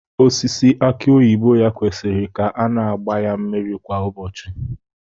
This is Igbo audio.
Osisi aki oyibo ya kwesịrị ka a na-agba ya mmiri kwa ụbọchị